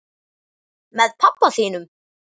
Með pabba þínum?